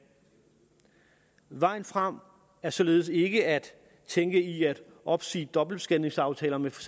vejen frem er således ikke at tænke i at opsige dobbeltbeskatningsaftaler med for